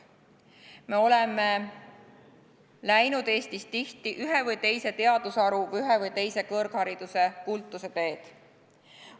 Me oleme läinud Eestis tihti ühe või teise teadusharu, ühe või teise kõrghariduse kultuse teed.